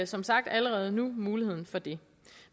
som sagt allerede nu muligheden for det